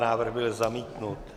Návrh byl zamítnut.